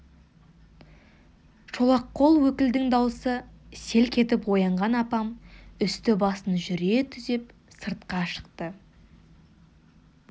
шолақ қол өкілдің даусы селк етіп оянған апам үсті-басын жүре түзеп сыртқа шықты